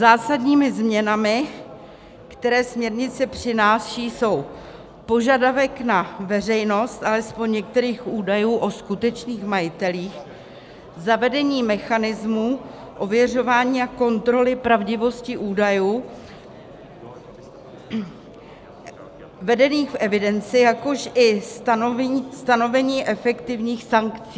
Zásadními změnami, které směrnice přináší, jsou: požadavek na veřejnost alespoň některých údajů o skutečných majitelích, zavedení mechanismů ověřování a kontroly pravdivosti údajů vedených v evidenci, jakož i stanovení efektivních sankcí.